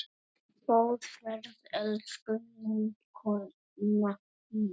Góða ferð, elsku vinkona mín.